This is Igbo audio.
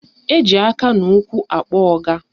Eji aka na ụkwụ akpọ ọga